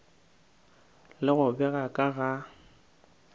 le go bega ka ga